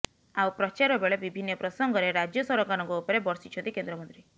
ଆଉ ପ୍ରଚାରବେଳେ ବିଭିନ୍ନ ପ୍ରସଙ୍ଗରେ ରାଜ୍ୟ ସରକାରଙ୍କ ଉପରେ ବର୍ଷିଛନ୍ତି କେନ୍ଦ୍ରମନ୍ତ୍ରୀ